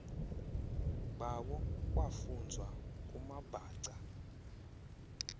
bayo kwafunzwa kumabhaca